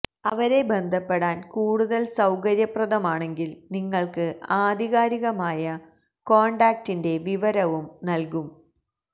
അവരെ ബന്ധപ്പെടാൻ കൂടുതൽ സൌകര്യപ്രദമാണെങ്കിൽ നിങ്ങൾക്ക് ആധികാരികമായ കോൺടാക്റ്റിന്റെ വിവരവും നൽകും